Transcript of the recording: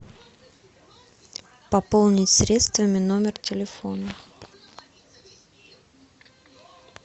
пополнить средствами номер телефона